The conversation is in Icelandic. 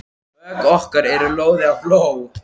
Bök okkar eru loðin af ló.